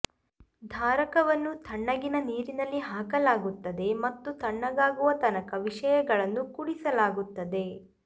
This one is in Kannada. ಧಾರಕವನ್ನು ತಣ್ಣಗಿನ ನೀರಿನಲ್ಲಿ ಹಾಕಲಾಗುತ್ತದೆ ಮತ್ತು ತಣ್ಣಗಾಗುವ ತನಕ ವಿಷಯಗಳನ್ನು ಕುಡಿಸಲಾಗುತ್ತದೆ